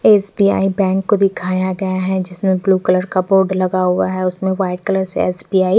SBI bank को दिखाया गया है जिसमें ब्लू कलर का बोर्ड लगा हुआ है उसमें व्हाइट कलर से एस_बी_आई --